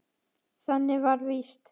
Þannig var það víst.